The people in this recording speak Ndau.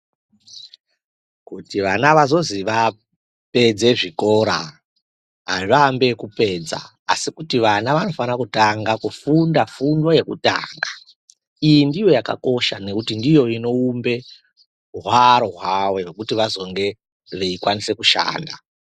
Kuti vana vazozi vapedze zvikora azviambi ekupedza asi kuti vana vanofana kufunda fundo yekutanga iyi ndiyo yakakosha nekuti ndiyo inoumbe hwaro hwawo hwekuti vazinge veikwanise kushanda.